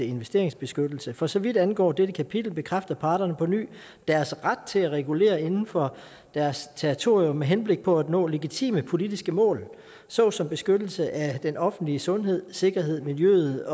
investeringsbeskyttelse for så vidt angår dette kapitel bekræfter parterne på ny deres ret til at regulere inden for deres territorium med henblik på at nå legitime politiske mål såsom beskyttelsen af den offentlige sundhed sikkerhed miljøet